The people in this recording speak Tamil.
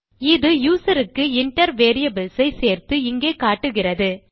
இது யூசர் க்கு இன்டர் வேரியபிள்ஸ் ஐ சேர்த்து இங்கே காட்டுகிறது